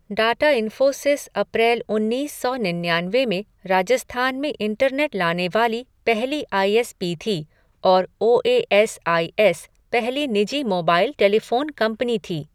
Data Infosys April उन्नीस सौ निन्यानवे में राजस्थान में इंटरनेट लाने वाली पहली आई एस पी थी और O A S I S पहली निजी मोबाइल टेलीफोन कंपनी थी।